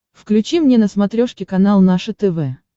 включи мне на смотрешке канал наше тв